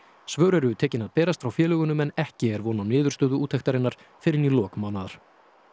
svör eru tekin að berast frá félögunum en ekki er von á niðurstöðu úttektarinnar fyrr en í lok mánaðar